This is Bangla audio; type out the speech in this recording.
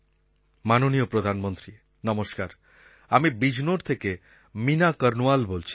মাননীয় প্রধানমন্ত্রী নমস্কার আমি বিজনোর থেকে মীণা কর্ণওয়াল বলছি